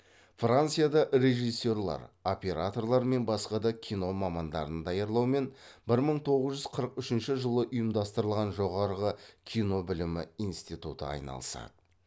францияда режиссерлер операторлар мен басқа да кино мамандарын даярлаумен бір мың тоғыз жүз қырық үшінші жылы ұйымдастырылған жоғарғы кино білімі институты айналысады